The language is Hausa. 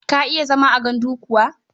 Ka iya zama a gandu kuwa?